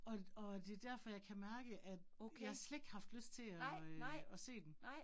Og og det derfor jeg kan mærke, at jeg slet ikke har haft lyst til at øh at se den